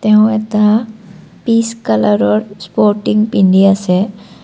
এওঁ এটা পিচ কালাৰৰ স্পৰ্টিং পিন্ধি আছে।